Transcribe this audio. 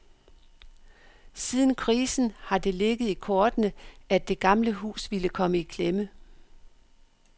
Siden krisen har det ligget i kortene, at det gamle hus ville komme i klemme.